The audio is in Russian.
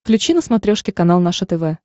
включи на смотрешке канал наше тв